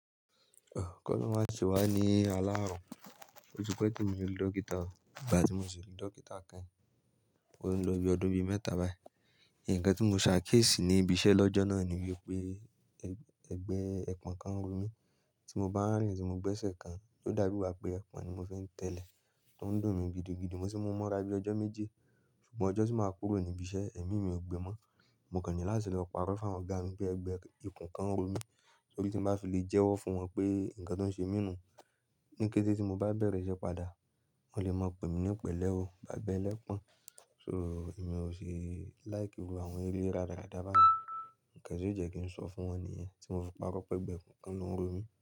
K'Olórun má se wá ní alárùn. Ó ti pẹ́ te mi rí dókítà o, ìgbà tí mo sì rí dókítà keyin, o nlọ́ bí ọdún bí mẹ́ta báyìí. Nǹkan tí mo ṣà kiesi ní ibi iṣẹ́ lọ́jọ́ náà niyi pé ẹ̀gbẹ́ ẹpon kan ń ro mí, tí mo bá ń rìn tí mo gbẹ́sẹ̀ kan, ó dà bi i igba pé ẹpon ni mo fi ń tẹ́lẹ̀, tó ń dùn mí gidigidi, mo tì mu mọ́ra bí ọjọ́ méje. Ṣùgbọ́n ọjọ́ tí máa kúrò ní ibi iṣẹ́, ẹ̀mí mi ò gbẹ́ mọ́. Mo kàń ní láti lọ parọ́ fún awon ọ̀gá mi pé ẹgbẹ́ ẹpon kan ń ro mí. Torí tí ń bá fi lè jẹ́wọ́ fún wọn pé nǹkan tó ń ṣe mí nù, ní kété tí mo bá bẹ̀rẹ̀ iṣẹ́ padà, wọn lè máa pè mí ní Pẹ̀lẹ́ ó, bàbá ẹlẹ́pon. So, n'èmi ò ṣe like gbogbo àwọn eré rádaràda bá yen. Ǹnkan ti o jẹ́ kí n sọ fún wọn ni yẹ́n tí mo fi parọ́ pé ẹgbẹ́ ẹpon kan ló ń ro mí.